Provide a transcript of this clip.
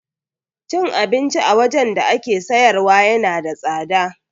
Cin abinci a wajan da ake siyarwa yana da tsada